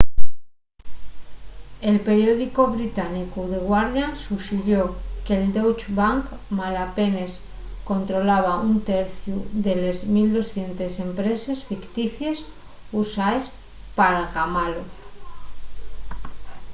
el periódicu británicu the guardian suxirió que'l deutsche bank malapenes controlaba un terciu de les 1200 empreses ficticies usaes p'algamalo